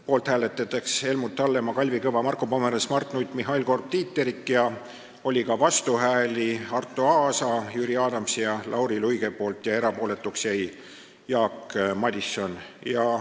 Poolt hääletasid Helmut Hallemaa, Kalvi Kõva, Marko Pomerants, Mart Nutt, Mihhail Korb ja Tiit Terik, aga oli ka vastuhääli ning erapooletuks jäi Jaak Madison.